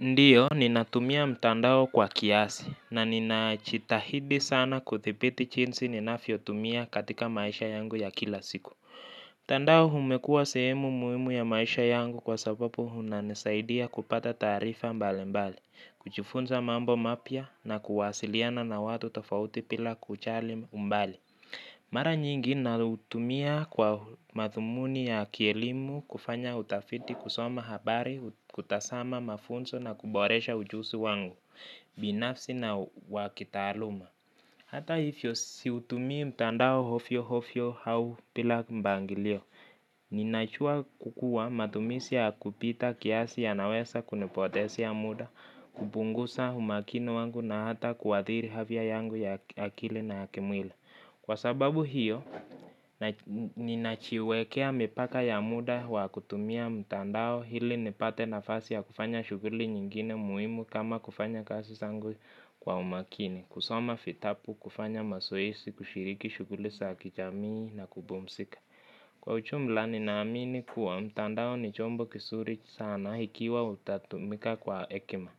Ndio, ninatumia mtandao kwa kiasi, na ninachitahidi sana kuthipiti chinsi ninafyotumia katika maisha yangu ya kila siku. Tandao humekua sehemu muimu ya maisha yangu kwa sababu, hunanisaidia kupata taarifa mbalembali, kujifunza mambo mapya na kuwasiliana na watu tofauti pila kujali umbali. Mara nyingi, nautumia kwa madhumuni ya kielimu, kufanya utafiti, kusoma habari, kutasama mafunso na kuboresha ujusi wangu, binafsi na wakitaaluma. Hata ifyo si utumii mtandao hofyo hofyo hau pila mbangilio, ninajua kukua matumisi ya kupita kiasi ya nawesa kuni potesea muda, kubungusa humakini wangu na hata kuathiri havia yangu ya akili na yakimwili. Kwa sababu hiyo, ninachiwekea mipaka ya muda wa kutumia mtandao hili nipate nafasi ya kufanya shughli nyingine muhimu kama kufanya kazi zangu kwa umakini. Kusoma fitabu, kufanya mazoezi, kushiriki shughli sa kijamii na kubumzika. Kwa uchumula nina amini kuwa, mtandao ni chombo kisuri sana, hikiwa utatumika kwa ekima.